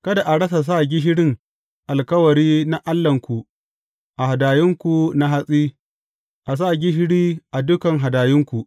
Kada a rasa sa gishirin alkawari na Allahnku a hadayunku na hatsi, a sa gishiri a dukan hadayunku.